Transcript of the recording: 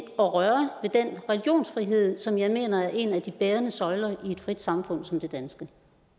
og røre ved den religionsfrihed som jeg mener er en af de bærende søjler i et frit samfund som det danske